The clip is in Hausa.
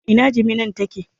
Ina jiminan take?